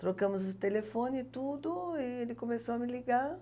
Trocamos o telefone e tudo, e ele começou a me ligar.